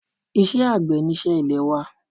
Isé àgbẹ̀ ni isẹ́ ilè wa